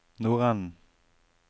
nordenden